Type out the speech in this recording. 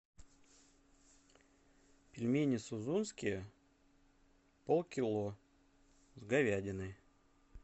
пельмени сузунские полкило с говядиной